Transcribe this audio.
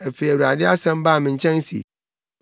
Afei Awurade asɛm baa me nkyɛn se,